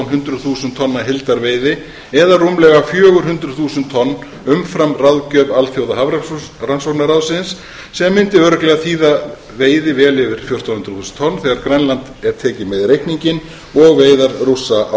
hundruð þúsund tonna heildarveiði það er rúmlega fjögur hundruð þúsund tonn umfram ráðgjöf alþjóðahafrannsóknaráðsins sem mundi örugglega þýða veiði vel yfir fjórtán hundruð þúsund tonn þegar grænland er tekið með í reikninginn og veiðar rússa á